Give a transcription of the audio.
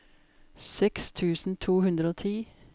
seks tusen to hundre og ti